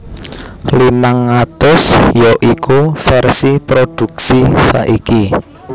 limang atus ya iku vèrsi prodhuksi saiki